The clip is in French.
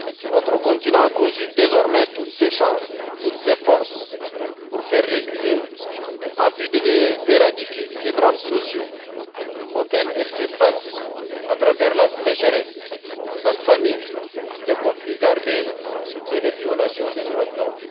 Notre continent conjugue désormais toutes ses forces pour faire reculer, en vue de les éradiquer, les drames sociaux auxquels elle fait face à travers la sécheresse, la famine, les conflits armés et les violations des droits de l'homme.